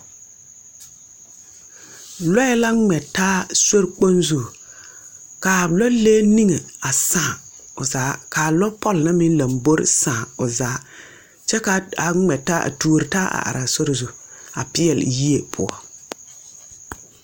Lɔɛ la ngmɛ taa sorikpon zu kaa lɔlee ninge a sãã zaa kaa lɔɔpul na meng lɔmbori sãã ɔ zaa kye ka a ngme taa a tuuro taa a arẽ a sori zu a peeli yee puo.